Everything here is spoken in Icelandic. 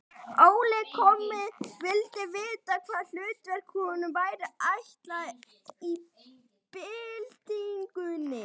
Óli kommi vildi vita, hvaða hlutverk honum væri ætlað í byltingunni.